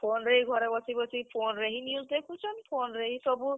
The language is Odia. Phone ରେ ହି ଘରେ ବସି ବସି, phone ରେ ହି news ଦେଖୁଛନ୍, phone ରେ ହି ସବୁ।